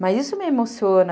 Mas isso me emociona.